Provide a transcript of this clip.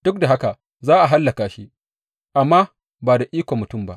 Duk da haka za a hallaka shi, amma ba da ikon mutum ba.